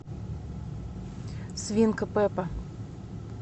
свинка пеппа